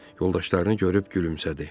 Yoldaşlarını görüb gülümsədi.